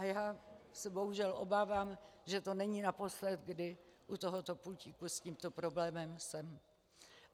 A já se bohužel obávám, že to není naposled, kdy u tohoto pultíku s tímto problémem jsem.